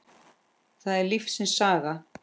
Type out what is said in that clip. Það er lífsins saga.